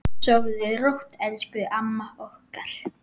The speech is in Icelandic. Sofðu rótt elsku amma okkar.